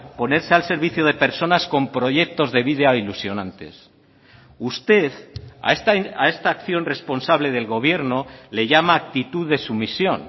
ponerse al servicio de personas con proyectos de vida ilusionantes usted a esta acción responsable del gobierno le llama actitud de sumisión